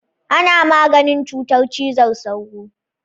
Ana maganin cutar cizon sauro.